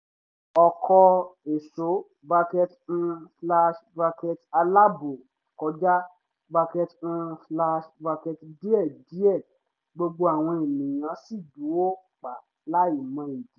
ọkọ̀ ẹ̀ṣò bracket um slash bracket àláàbò kọjá bracket um slash bracket díẹ̀díẹ̀ gbogbo àwọn ènìyàn sì dúró pa láì mọ ìdí